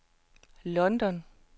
London